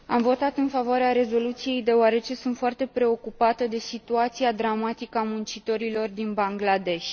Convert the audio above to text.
Am votat în favoarea rezoluției deoarece sunt foarte preocupată de situația dramatică a muncitorilor din Bangladesh.